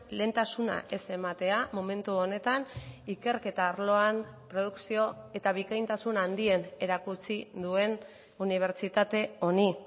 lehentasuna ez ematea momentu honetan ikerketa arloan produkzio eta bikaintasun handien erakutsi duen unibertsitate honi